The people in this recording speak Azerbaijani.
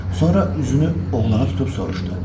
Sonra üzünü oğlana tutub soruşdu.